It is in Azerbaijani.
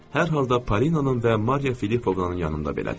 Hər halda Palinanın və Mariya Filippovnanın yanında belədir.